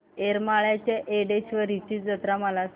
येरमाळ्याच्या येडेश्वरीची जत्रा मला सांग